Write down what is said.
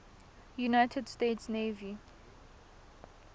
united states navy